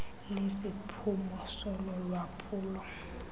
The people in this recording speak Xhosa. lesiphumo solo lwaphulo